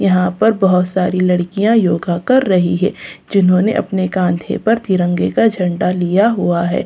यहाँ पर बहुत सारी लड़कियाँ योगा कर रही है जिन्होंने अपने काँधे पर तिरंगा का झण्डा लिया हुआ है।